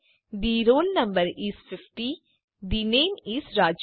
the roll no is 50 the name is Raju